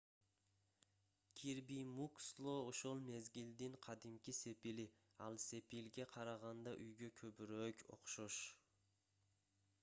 кирби муксло ошол мезгилдин кадимки сепили ал сепилге караганда үйгө көбүрөөк окшош